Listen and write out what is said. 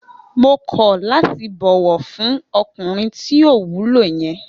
Mo kọ̀ láti bọ̀wọ̀ fún ọkùnrin tí ò wúlò yen